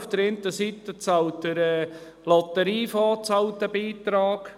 Auf der einen Seite zahlt eben der Lotteriefonds einen Beitrag.